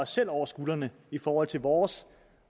selv over skuldrene i forhold til vores